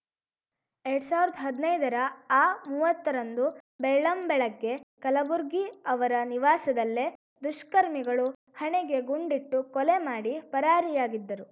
ಎರಡ್ ಸಾವಿರ್ದಾ ಹದ್ನೈದರ ಆ ಮೂವತ್ತರಂದು ಬೆಳ್ಳಂಬೆಳಗ್ಗೆ ಕಲಬುರ್ಗಿ ಅವರ ನಿವಾಸದಲ್ಲೇ ದುಷ್ಕರ್ಮಿಗಳು ಹಣೆಗೆ ಗುಂಡಿಟ್ಟು ಕೊಲೆ ಮಾಡಿ ಪರಾರಿಯಾಗಿದ್ದರು